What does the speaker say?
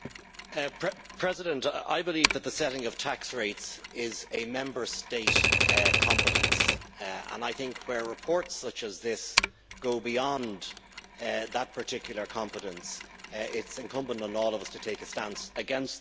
Mr President, I believe that the setting of tax rates is a Member State competence and I think where reports such as this go beyond that particular competence, it is incumbent on all of us to take a stance against that.